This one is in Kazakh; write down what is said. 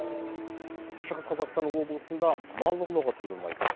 шығыс қазақстан облысында мал ұрлығы тиылмай тұр